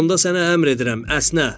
Onda sənə əmr edirəm, əsnə.